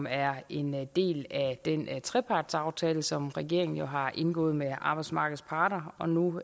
er en del af den trepartsaftale som regeringen jo har indgået med arbejdsmarkedets parter og nu